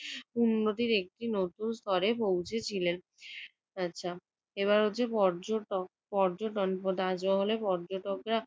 উন্নতির একটি নতুন স্তরে পৌঁছেছিলেন। আচ্ছা, এবার হচ্ছে পর্যটক পর্যটন তাজমহলে পর্যটকরা